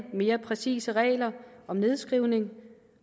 mere præcise regler for nedskrivning